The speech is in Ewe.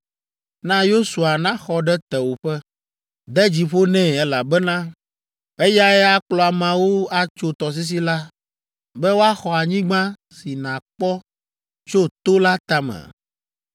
Na Yosua naxɔ ɖe tewòƒe. De dzi ƒo nɛ, elabena eyae akplɔ ameawo atso tɔsisi la be woaxɔ anyigba si nàkpɔ tso to la tame.”